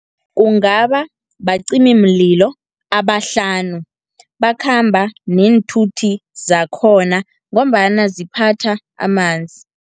Kungaba bacimimlilo abahlanu, bakhamba neenthuthi zakhona, ngombana ziphatha amanzi.